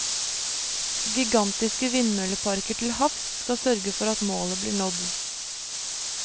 Gigantiske vindmølleparker til havs skal sørge for at målet blir nådd.